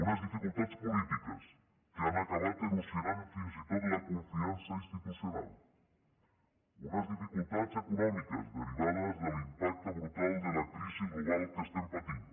unes dificultats polítiques que han acabat erosionant fins i tot la confiança institucional unes dificultats econòmiques derivades de l’impacte brutal de la crisi global que estem patint